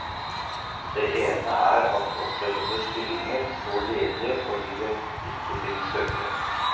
Det ene er at opprettede stillinger står ledige fordi det ikke finnes søkere.